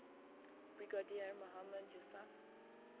brigadier mohammad yousaf